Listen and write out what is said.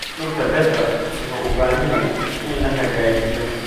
Dhulka beerta wuxuu u baahan yahay in la hagaajiyo.